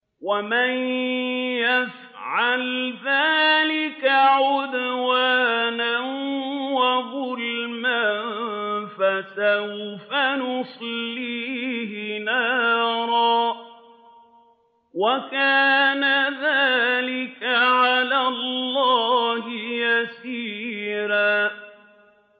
وَمَن يَفْعَلْ ذَٰلِكَ عُدْوَانًا وَظُلْمًا فَسَوْفَ نُصْلِيهِ نَارًا ۚ وَكَانَ ذَٰلِكَ عَلَى اللَّهِ يَسِيرًا